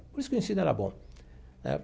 Por isso que o ensino era bom né.